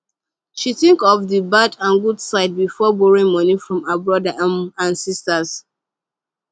she think of d bad and good side before borrowing money from her brother um and sister